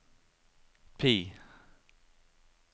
PIE